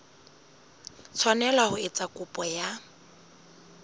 tshwanela ho etsa kopo ya